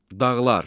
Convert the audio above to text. Dağlar.